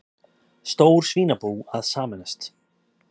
Stór svínabú að sameinast